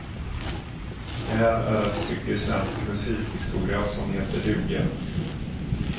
Det här är ett stycke svensk musikhistoria som heter duga.